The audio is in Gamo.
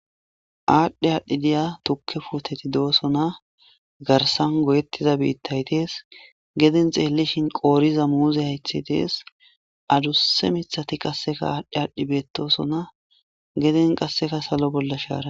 Adhi adhidi diya tuke puteti de, osona garsan goyetida bithayi dees geden xelishe qoriza muze hayithayi dees adusa mithati adhi adhidi betosona geden qasika salo bolla sharayi